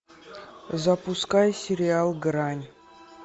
запускай сериал грань